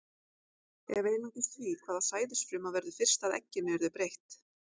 Ef einungis því, hvaða sæðisfruma verður fyrst að egginu, yrði breytt.